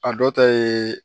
A dɔ ta ye